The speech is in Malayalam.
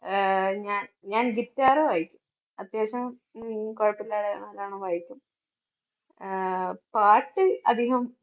ആഹ് ഞാൻ ഞാൻ guitar വായിക്കും. അത്യാവശ്യം ഉം കുഴപ്പമില്ലാതെ നല്ലവണ്ണം വായിക്കും. ആഹ് പാട്ട് അധികം